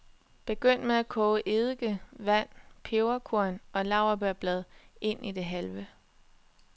Begynd med at koge eddike, vand, peberkorn og laurbærblad ind til det halve.